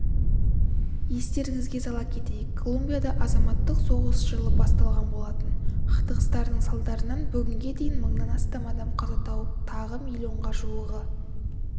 естеріңізге сала кетейік колумбияда азаматтық соғыс жылы басталған болатын қақтығыстардың салдарынан бүгінге дейін мыңнан астам адам қаза тауып тағы миллионға жуығы